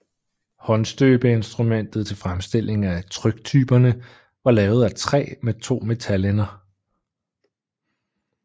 Håndstøbeinstrumentet til fremstilling af tryktyperne var lavet af træ med to metalender